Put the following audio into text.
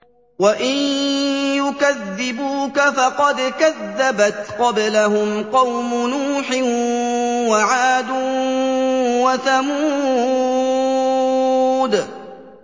وَإِن يُكَذِّبُوكَ فَقَدْ كَذَّبَتْ قَبْلَهُمْ قَوْمُ نُوحٍ وَعَادٌ وَثَمُودُ